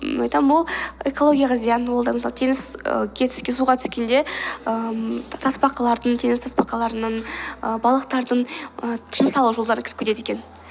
ммм айтамын ол экологияға зиян ол да мысалы суға түскенде ііі тасбақалардың теңіз тасбақаларының ііі балықтардың і тыныс алу жолдарына кіріп кетеді екен